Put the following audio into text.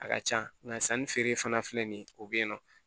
A ka can nka sanni feere fana filɛ nin ye o bɛ yen nɔ